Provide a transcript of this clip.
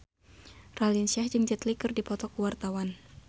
Raline Shah jeung Jet Li keur dipoto ku wartawan